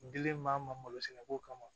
N dilen maa ma malo sɛnɛ ko kama